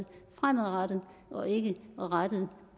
fremadrettet og ikke rettet